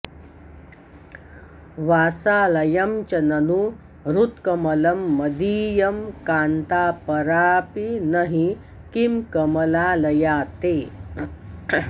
वासालयं च ननु हृत्कमलं मदीयं कान्तापरापि न हि किं कमलालया ते